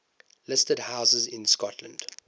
listed houses in scotland